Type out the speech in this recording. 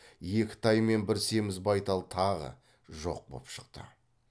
екі тай мен бір семіз байтал тағы жоқ боп шықты